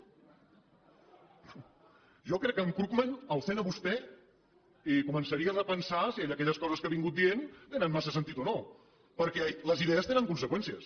jo crec que en krugman el sent a vostè i començaria a repensar si ell aquelles coses que ha dit tenen massa sentit o no perquè les idees tenen conseqüències